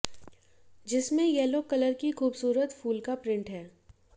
जिसमें yellow colour की खूबसूरत फूल का प्रिंट है